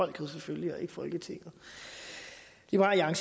det var selvfølgelig folket jeg